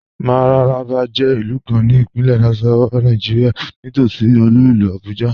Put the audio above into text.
Mararaba jẹ ilù kàn ní Ìpínlẹ̀ Nasarawa, Nàìjíríà, nítòṣí olú ilù Abuja.